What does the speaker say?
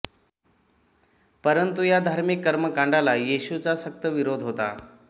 परंतु या धार्मिक कर्मकांडाला येशूचा सक्त विरोध होता